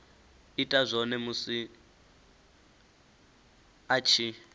ita zwone musi a tshi